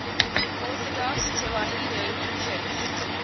orthodox tewahedo church